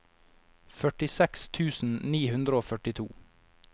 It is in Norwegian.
førtiseks tusen ni hundre og førtito